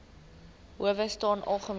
howe staan algemeen